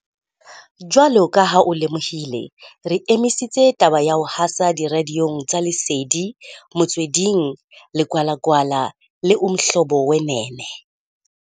Jwalo ka ha o lemohile, re emisitse taba ya ho hasa diradiong tsa Lesedi, Motsweding, Ligwalagwala le Umhlobo Wenene.